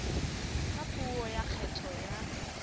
ka puo ya kgetho ya